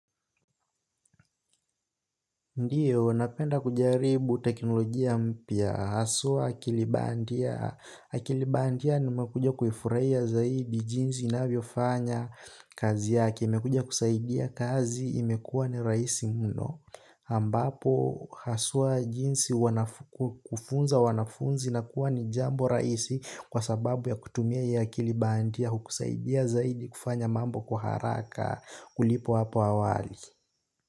Ndiyo, napenda kujaribu teknolojia mpya. Haswa akilibandia. Akilibandia nimekuja kuifurahia zaidi jinsi inavyofanya kazi yake. Imekuja kusaidia kazi imekuwa ni rahisi mno. Ambapo, haswa jinsi kufunza wanafunzi inakuwa ni jambo rahisi kwa sababu ya kutumia hiyo akilibandia hukusaidia zaidi kufanya mambo kwa haraka kulipo hapa awali.